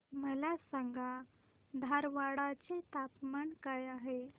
मला सांगा धारवाड चे तापमान काय आहे